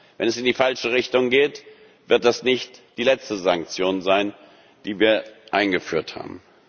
wollen. Wenn es in die falsche Richtung geht, wird es nicht die letzte Sanktion sein, die wir eingeführt